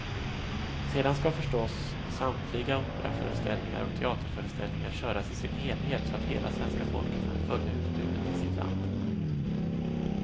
Sedan ska förstås samtliga operaföreställningar och teaterföreställningar köras i sin helhet så att hela svenska folket kan följa utbudet i sitt land.